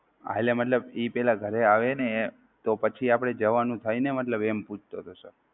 હા એટલે ઈ મતલબ ઘરે આવે ને તો પછી આપડે જવાનું થાય ને મતલબ એમ પૂછતો હતો sir